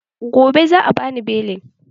Gobe za'a bani belin.